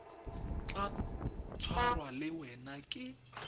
tla tshwarwa le wena ke